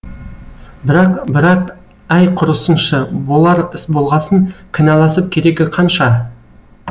бірақ бірақ әй құрысыншы болар іс болғасын кінәласып керегі қанша